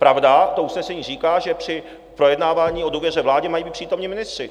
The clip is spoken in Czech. Pravda, to usnesení říká, že při projednávání o důvěře vládě mají být přítomni ministři.